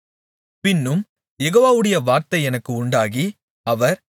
பின்னும் யெகோவாவுடைய வார்த்தை எனக்கு உண்டாகி அவர்